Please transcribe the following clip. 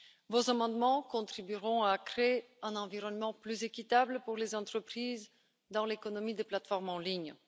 Vos amendements contribueront à créer un environnement plus équitable pour les entreprises dans l'économie des plateformes en ligne.